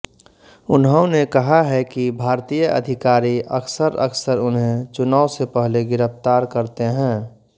उन्होने कहा है कि भारतीय अधिकारी अक्सर अक्सर उन्हे चुनाव से पहले गिरफ्तार करते हैं